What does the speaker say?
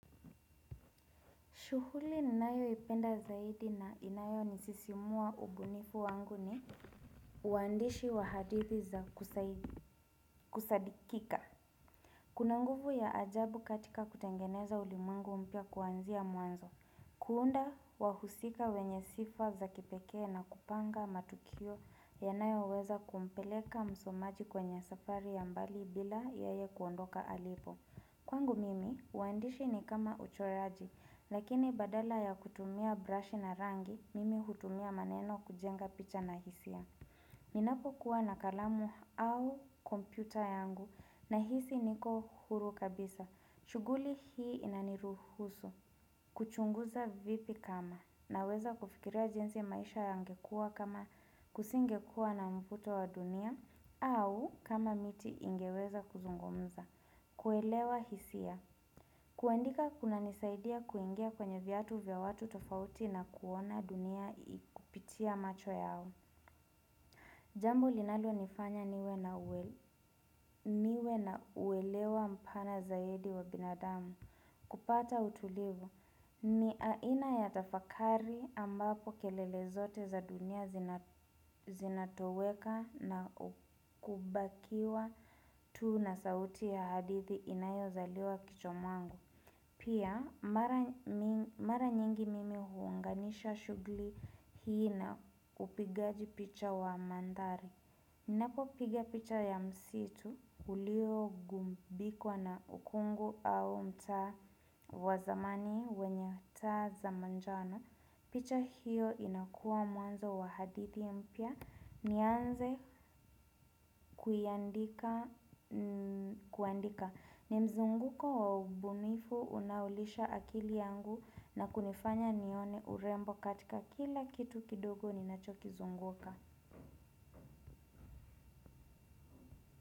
Shughuli ninayoipenda zaidi na inayo nisisimua umbunifu wangu ni uandishi wahadithi za kusadikika. Kuna nguvu ya ajabu katika kutengeneza ulimwengu mpya kuanzia mwanzo. Kuunda wahusika wenye sifa za kipekee na kupanga matukio yanayo weza kumpeleka msomaji kwenye safari ya mbali bila yeye kuondoka alipo. Kwangu mimi, uandishi ni kama uchoraji, lakini badala ya kutumia brush na rangi, mimi hutumia maneno kujenga picha na hisia. Ninapo kuwa na kalamu au kompyuta yangu nahisi niko huru kabisa. Shughuli hii inaniruhusu. Kuchunguza vipi kama naweza kufikiria jinsi maisha yangekua kama kusingekua na mvuto wa dunia au kama miti ingeweza kuzungumza. Kuelewa hisia. Kuandika kunanisaidia kuingia kwenye viatu vya watu tofauti na kuona dunia kupitia macho yao. Jambo linalonifanya niwe na uelewa mpana zaidi wa binadamu. Kupata utulivu ni aina ya tafakari ambapo kelele zote za dunia zina zinatoweka na kubakiwa tuu na sauti ya hadithi inayozaliwa kichwa mwangu. Pia mara nyingi mimi huanganisha shughuli hii na upigaji picha wa mandhari. Ninapopiga picha ya msitu uliogumbikwa na ukungu au mtaa wa zamani wenye taa za manjano picha hiyo inakua mwanzo wa hadithi mpya nianze kuiandika kuandika ni mzunguko wa ubunifu unaolisha akili yangu na kunifanya nione urembo katika kila kitu kidogo ninachokizunguka.